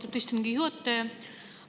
Austatud istungi juhataja!